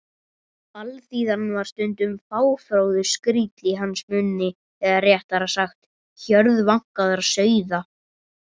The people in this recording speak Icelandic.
Alþýðan var stundum fáfróður skríll í hans munni eða réttara sagt: hjörð vankaðra sauða.